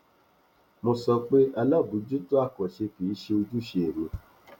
mo sọ pé àbójútó àkànṣe kì í ṣe ojúṣe mi